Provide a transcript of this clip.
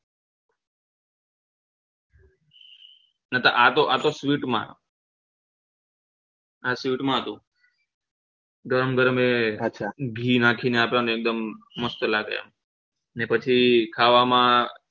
આતો આતો sweet માં આ sweet માં હતું ગરમ ગરમ એ આછા ધી નાખી ને આપે ને એક દમ મસ્ત લાગે ને પછી ખાવા માં